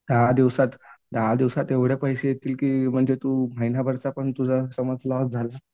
दहा दिवसात दहा दिवसात एवढे पैसे येतील की म्हणजे तू महिन्याभरचा पण समज तुझा लॉस झाला